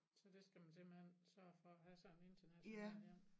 Så det skal man simpelthen sørge for at have sådan international ja